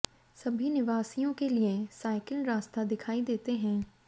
सभी निवासियों के लिए साइकिल रास्ता दिखाई देते हैं